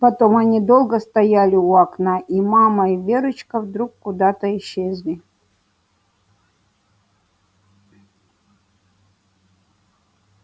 потом они долго стояли у окна и мама и верочка вдруг куда то исчезли